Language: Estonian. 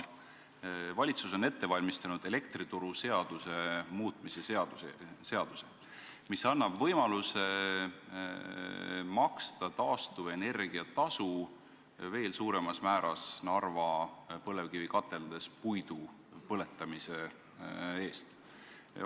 Valitsus on ette valmistanud elektrituruseaduse muutmise seaduse, mis annab võimaluse veel suuremas määras maksta taastuvenergia tasu Narva põlevkivikateldes puidu põletamise eest.